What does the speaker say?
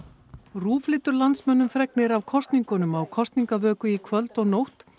RÚV flytur landsmönnum fregnir af kosningunum á kosningavöku í kvöld og nótt